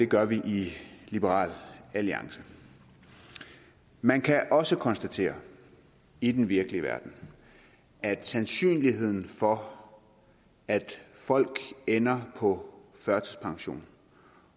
gør vi i liberal alliance man kan også konstatere i den virkelige verden at sandsynligheden for at folk ender på førtidspension